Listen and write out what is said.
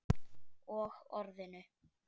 Og Orðinu.